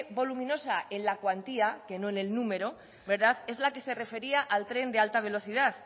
voluminosa en la cuantía que no en el número es la que se refería al tren de alta velocidad